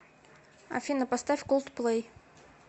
афина поставь колдплей